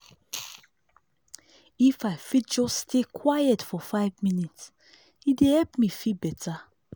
if i fit just stay quiet for five minute e dey help me feel better.